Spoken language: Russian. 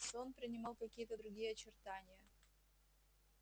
сон принимал какие-то другие очертания